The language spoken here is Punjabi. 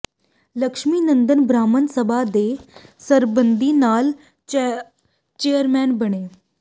ਲਕਸ਼ਮੀ ਨੰਦਨ ਬ੍ਰਾਹਮਣ ਸਭਾ ਦੇ ਸਰਬਸੰਮਤੀ ਨਾਲ ਚੇਅਰਮੈਨ ਬਣੇ